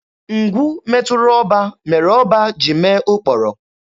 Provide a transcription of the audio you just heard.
Ngwu metụrụ ọba, mere ọba jiri mee ụkpọrọ.